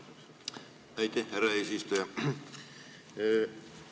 Aitäh, härra eesistuja!